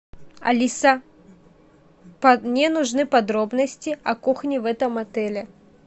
алиса мне нужны подробности о кухне в этом отеле